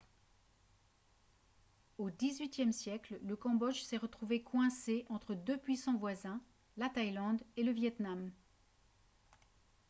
au xviiie siècle le cambodge s'est retrouvé coincé entre deux puissants voisins la thaïlande et le vietnam